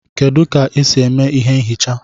kedu ka e si eme ihé nchicha?